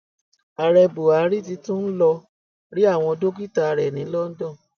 ààrẹ buhari ti tún ń lọọ rí àwọn dókítà rẹ ní london